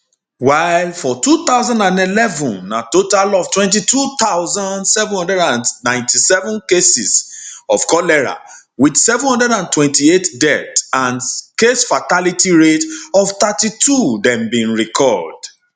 while for while for 2011 na total of 22797 cases of cholera wit 728 deaths and casefatality rate of 32 dem bin record